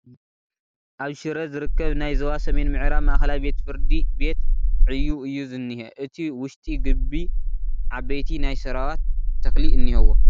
ኣብ ሽረ ዝርከብ ናይ ዞባ ሰሜን ምዕራብ ማእኸላይ ቤት-ፍርዲ ቤት ዕዩ እዩ ዝንሄ እቲ ውሽጢ ግቡ ዓበይቲ ናይ ሰራዋት ተኽሊ እንሄዎ ።